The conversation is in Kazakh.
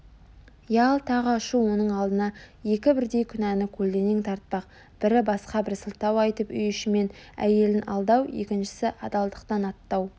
ялтаға ұшу оның алдына екі бірдей күнәні көлденең тартпақ бірі басқа бір сылтау айтып үй ішімен әйелін алдау екіншісі адалдықтан аттау